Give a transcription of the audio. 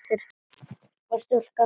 Þú ert sjúkur maður.